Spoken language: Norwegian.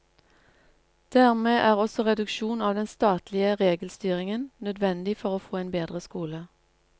Dermed er også reduksjon av den statlige regelstyringen nødvendig for å få en bedre skole.